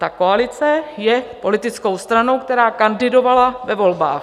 Ta koalice je politickou stranou, která kandidovala ve volbách.